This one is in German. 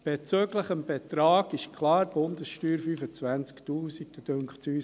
Bezüglich des Betrags ist es klar: Bundessteuer, 25 000 Franken.